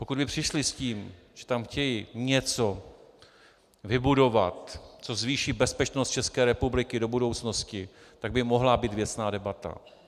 Pokud by přišli s tím, že tam chtějí něco vybudovat, co zvýší bezpečnost České republiky do budoucnosti, tak by mohla být věcná debata.